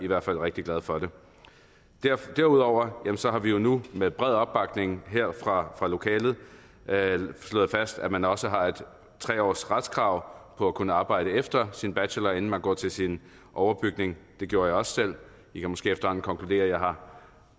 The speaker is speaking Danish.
var rigtig glad for det derudover har vi jo nu med bred opbakning fra lokalet slået fast at man også har et tre års retskrav på at kunne arbejde efter sin bachelor inden man går til sin overbygning det gjorde jeg også selv i kan måske efterhånden konkludere